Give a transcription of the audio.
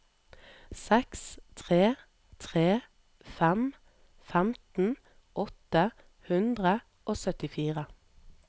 seks tre tre fem femten åtte hundre og syttifire